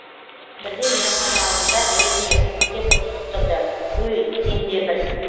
бірде мейрамхана алдында әйеліне күңкілдеп ұрысып тұрды өй сен де бір